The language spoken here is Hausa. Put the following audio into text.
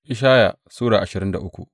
Ishaya Sura ashirin da uku